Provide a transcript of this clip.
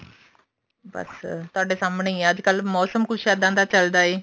ਬੱਸ ਤੁਹਾਡੇ ਸਾਹਮਣੇ ਹੀ ਆ ਅੱਜਕਲ ਮੋਸਮ ਕੁੱਝ ਇੱਦਾਂ ਦਾ ਚੱਲਦਾ ਹੈ